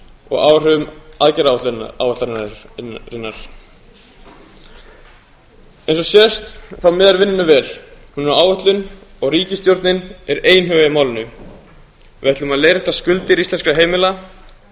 og áhrifum aðgerðaáætlunarinnar eins og sést þá miðar vinnu vel hún er á áætlun og ríkisstjórnin er einhuga í málinu við ætlum að leiðrétta skuldir íslenskra heimila